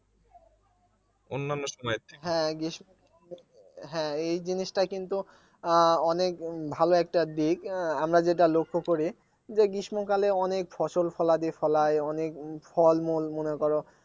হ্যাঁ হ্যাঁ জিনিসটা কিন্তু অনেক ভালো একটা দিক আহ আমরা যেটা লক্ষ্য করি যে গ্রীষ্মকালে অনেক ফসল ফলাদি ফলাই অনেক ফলমূল মনে করো